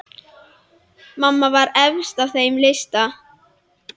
Mamma var efst á þeim lista.